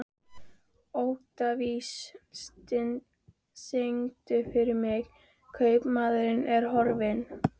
Oktavíus, syngdu fyrir mig „Kaupmaðurinn á horninu“.